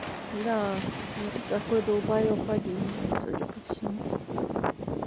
да ну ты такой долбаёб один блядь судя по всему